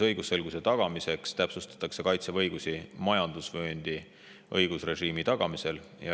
Õigusselguse tagamiseks täpsustatakse Kaitseväe õigusi majandusvööndi õigusrežiimi tagamisel.